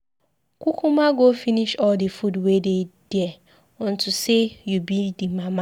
Kukuma go finish all the food wey dey there unto say you be the mama.